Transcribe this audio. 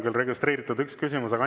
Meil on registreeritud üks küsimus teile.